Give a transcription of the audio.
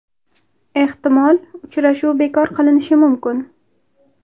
Ehtimol, uchrashuv bekor qilinishi mumkin.